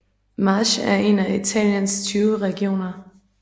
Marche er en af Italiens 20 regioner